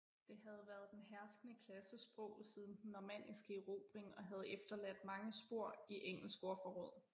Det havde været den herskende klasses sprog siden den normanniske erobring og havde efterladt mange spor i engelsk ordforråd